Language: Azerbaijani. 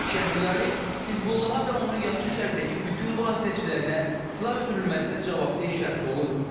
Şəhriyari Hizbullaha və onun yaxın şərqdəki bütün vasitəçilərinə silah ötürülməsinə cavabdeh şəxs olub.